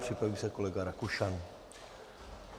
Připraví se kolega Rakušan.